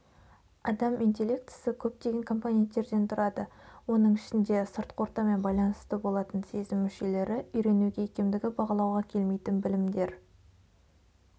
адам интеллектісі көптеген компоненттерде тұрады оның ішінде сыртқы ортамен байланысты болатын сезім мүшелері үйренуге икемдігі бағалауға келмейтін білімдер